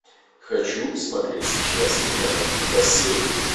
хочу смотреть сейчас киноленту бассейн